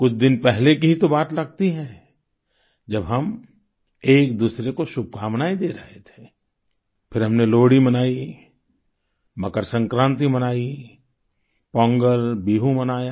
कुछ दिन पहले की ही तो बात लगती है जब हम एक दूसरे को शुभकमनाएं दे रहे थे फिर हमने लोहड़ी मनाई मकर संक्रांति मनाई पोंगल बिहु मनाया